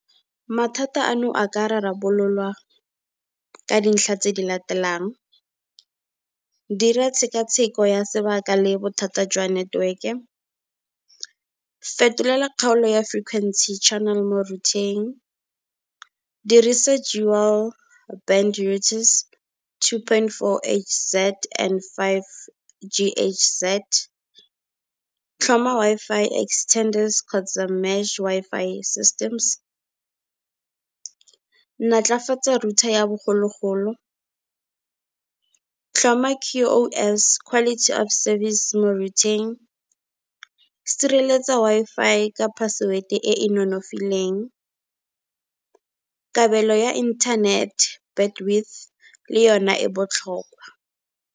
Mathata ano a ka rarabololwa ka dintlha tse di latelang, dira tshekatsheko ya sebaka le bothata jwa network-e. Fetolela kgaolo ya frequency channel mo router-eng, dirisa dual band routers, two point four H_Z and five G_H_Z. Tlhoma Wi-Fi extenders kgotsa mesh Wi-Fi systems. Natlafatsa router ya bogologolo, tlhoma Q_O_S quality of service mo router-eng, sireletsa Wi-Fi ka password-e e e nonofileng, kabelo ya internet bandwidth le yona e botlhokwa.